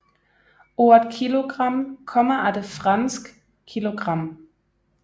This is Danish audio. Ordet kilogram kommer af det fransk kilogramme